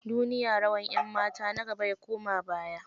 Duniya, rawar 'yanmata na gaba ya koma baya.